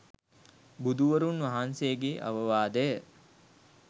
බුදුවරුන් වහන්සේගේ අවවාදය